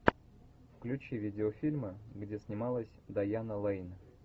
включи видеофильмы где снималась дайана лейн